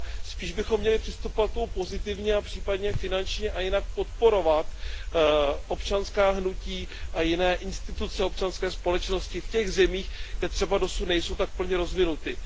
Spíš bychom měli přistupovat k tomu pozitivně a případně finančně a jinak podporovat občanská hnutí a jiné instituce občanské společnosti v těch zemích, kde třeba dosud nejsou tak plně rozvinuty.